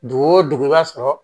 Dugu o dugu i b'a sɔrɔ